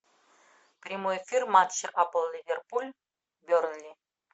прямой эфир матча апл ливерпуль бернли